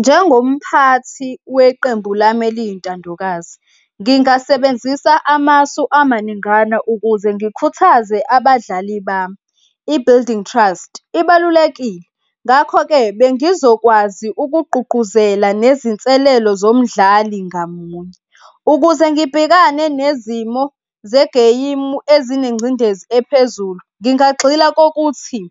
Njengomphathi weqembu lami eliyintandokazi, ngingasebenzisa amasu amaningana ukuze ngikukitaze abadlali bami, i-building trust, ibalulekile. Ngakho-ke, bengizokwazi ukugqugquzela nezinselelo zomdlali ngamunye ukuze ngibhekane nezimo zegeyimu ezinengcindezi ephezulu. Ngingagxila kokuthi